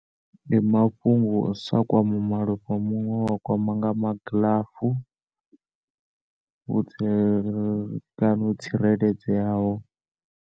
Ndi mafhungo a u sa kwame malofha a munwe wa kwama nga magilafu o tsire kana o tsireledzeaho.